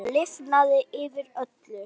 Það lifnaði yfir öllu.